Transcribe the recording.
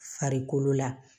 Farikolo la